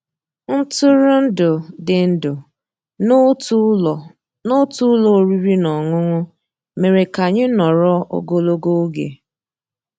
Ntụ́rụ́èndụ́ dị́ ndụ́ n'ótú ụ́lọ́ n'ótú ụ́lọ́ òrìrì ná ọ́nụ́ṅụ́ mérè ká ànyị́ nọ̀rọ́ ògólógó ògé.